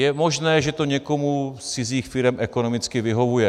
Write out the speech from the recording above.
Je možné, že to někomu z cizích firem ekonomicky vyhovuje.